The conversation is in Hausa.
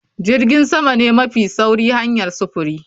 Jirgin sama ne mafi sauri hanyar sufuri